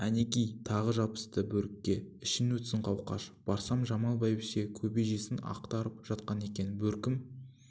әнеки тағы жабысты бөрікке ішің өтсін қауқаш барсам жамал бәйбіше кебежесін ақтарып жатыр екен бөркім